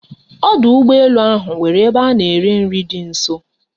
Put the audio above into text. Ọdụ ụgbọ elu ahụ nwere ebe a na-ere nri dị nso